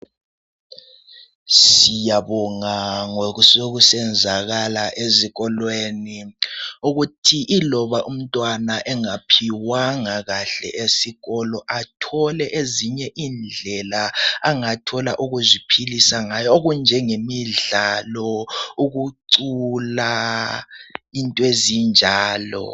Siyababonga ngokusenzakala ezikolweni ukuthi loba umntwana engaphiwanga esikolo athole ezinye indlela zokuziphilisa ngazo okunjengemidlalo ukugula into ezinjalo